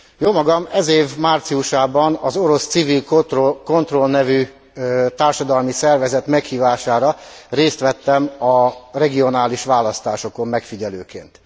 Jómagam ez év márciusában az orosz Civil Kontroll nevű társadalmi szervezet meghívására részt vettem a regionális választásokon megfigyelőként.